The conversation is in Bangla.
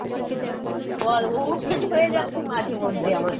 বল ho~hold হয়ে যাচ্ছে মাঝেমধ্যে আমার